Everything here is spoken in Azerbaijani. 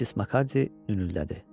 Missis Makardi ünüldədi.